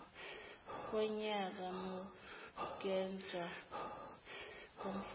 konyaka mukwenza komfundi